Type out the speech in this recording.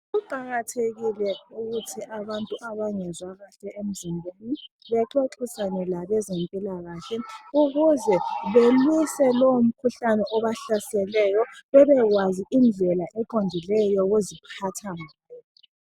Kuqakathekile ukuthi abantu abangezwakahle emzimbeni bexoxisane labezempikahle ukuze belwise lowo mkhuhlane obahlaseleyo bebekwazi indlela eqondileyo yokuziphatha ngayo.